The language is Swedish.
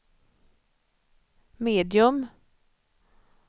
medium